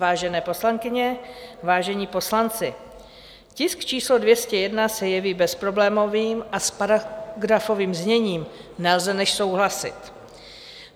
Vážené poslankyně, vážení poslanci, tisk číslo 201 se jeví bezproblémovým a s paragrafovým zněním nelze než souhlasit.